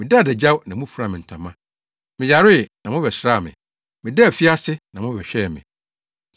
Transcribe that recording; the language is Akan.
Medaa adagyaw na mufuraa me ntama. Meyaree, na mobɛsraa me. Medaa afiase, na mobɛhwɛɛ me.’